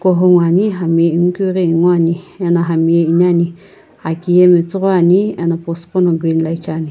hou ngoani hami ingukeughi inguani ena hami ye iniani aki ye metsughoi ani ena post qono green light shiani.